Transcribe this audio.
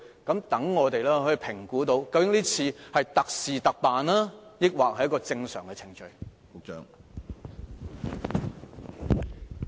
這樣我們才可以評估這次是特事特辦，還是屬正常程序。